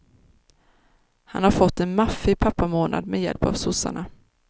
Han har fått en maffig pappamånad, med hjälp av sossarna.